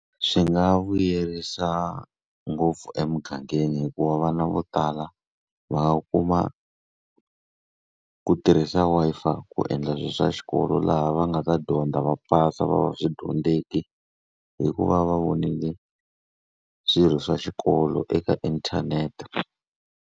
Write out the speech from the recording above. Swi nga vuyerisa ngopfu emugangeni hikuva vana vo tala va nga kuma ku tirhisa Wi-Fi ku endla swilo swa xikolo. Laha va nga ta dyondza, va pasa, va va swidyondzeki hi ku va va vonile swilo swa xikolo eka inthanete.